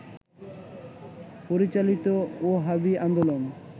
পরিচালিত ওহাবী আন্দোলন